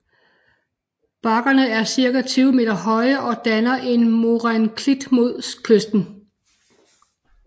Bakkerne er cirka 20 meter høje og danner en moræneklint mod kysten